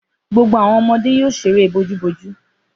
Gbogbo àwọn ọmọdé yóò ṣeré bojúbojú.